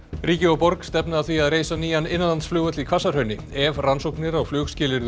ríki og borg stefna að því að reisa nýjan innlandsflugvöll í Hvassahrauni ef rannsóknir á